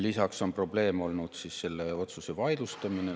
Lisaks on probleemne olnud selle otsuse vaidlustamine.